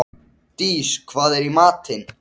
Ég veit að þér finnst ég orðmörg.